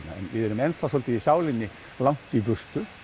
við erum enn þá svolítið í sálinni langt í burtu